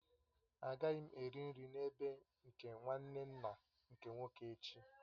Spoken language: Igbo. Agaghị m eri nri n'ebe nke nwanne nna nke nwoke echi